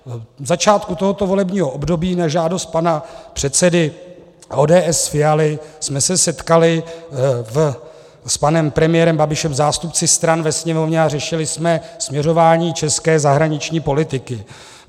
V začátku tohoto volebního období na žádost pana předsedy ODS Fialy jsme se setkali s panem premiérem Babišem, zástupci stran ve Sněmovně, a řešili jsme směřování české zahraniční politiky.